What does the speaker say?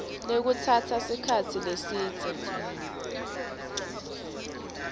lekutsatsa sikhatsi lesidze